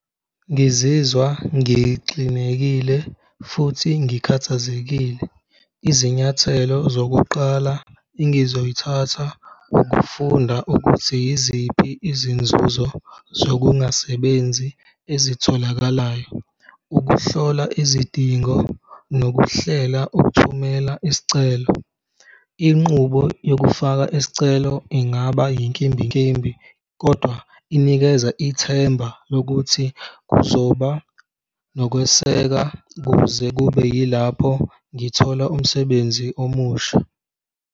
Ngizizwa ngixinekile futhi ngikhathazekile, izinyathelo zokuqala engizoyithatha ukufunda ukuthi yiziphi izinzuzo zokungasebenzi ezitholakalayo, ukuhlola izidingo nokuhlela ukuthumela isicelo, inqubo yokufaka isicelo ingaba inkimbinkimbi kodwa inikeza ithemba lokuthi kuzoba nokweseka kuze kube yilapho ngithola umsebenzi omusha.